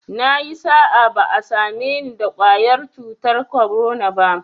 Nayi sa'a, ba'a same ni da ƙwayar cutar korona ba